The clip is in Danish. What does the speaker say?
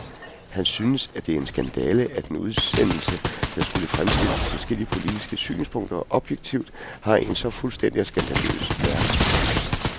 Han synes, at det er en skandale, at en udsendelse, der skulle fremstille de forskellige politiske synspunkter objektivt, har en så fuldstændig skandaløs vært.